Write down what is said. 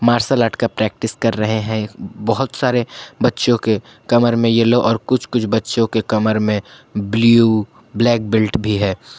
Martial art का practice कर रहे हैं बहुत सारे बच्चों के कमर में येलो और कुछ कुछ बच्चों के कमर में ब्लू ब्लैक बेल्ट भी है।